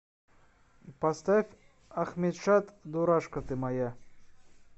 поставь ахмедшад дурашка ты моя